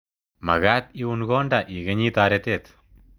Makat iun konda ikenyi taretet.